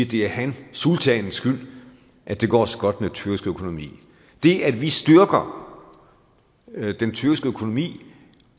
det er hans sultanens skyld at det går så godt med den tyrkiske økonomi det at vi styrker den tyrkiske økonomi